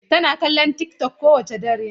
Tana kallon youtube kowane dare.